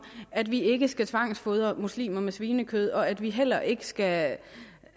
at vi ikke skal tvangsfodre muslimer med svinekød og at vi heller ikke skal